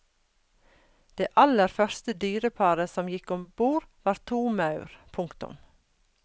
Det aller første dyreparet som gikk ombord var to maur. punktum